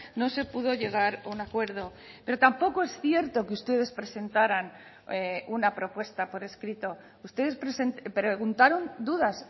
no se pudo llegar a un acuerdo pero tampoco es cierto que ustedes presentaran una propuesta por escrito ustedes preguntaron dudas